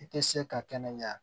I tɛ se ka kɛnɛ ɲɛ